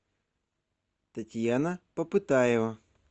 татьяна попытаева